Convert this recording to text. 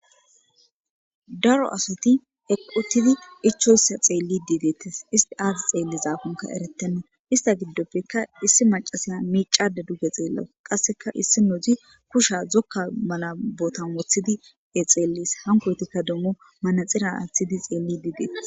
Daro asati eqqi uttidi ichchoyssa xeellidi deettes issti aazisi xeellizakonka eretenna ista giddoppekka issi macasaya miicade duge xeellaws qasseka issi noozi kusha zokka mala botan woththidi xeellis hankoytikka demmo manaxira aaththidi xeellidi deetes